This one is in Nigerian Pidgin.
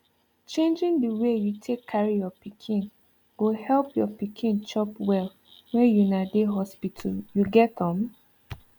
changing the way you take carry your pikin go help your pikin chop well when una dey hospital you get um